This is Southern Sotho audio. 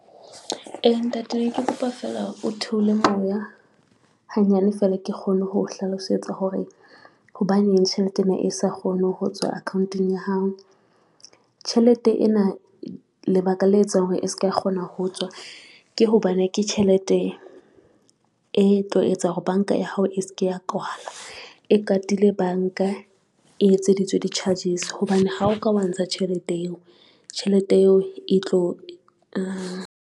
Eya, ntate ne ke kopa fela o theole moya hanyane fela ke kgone ho hlalosetsa hore hobaneng tjhelete ena e sa kgone ho tswa ko account-eng ya hao. Tjhelete ena lebaka le etsang hore e ska kgona ho tswa ke hobane, ke tjhelete e tlo etsa hore banka ya hao e se ke ya kwalwa e katile banka, e etseditswe di-charges. Hobane ha o ka wa ntsha tjhelete eo, tjhelete eo e tlo .